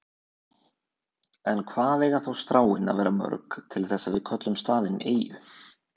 En hvað eiga þá stráin að vera mörg til þess að við köllum staðinn eyju?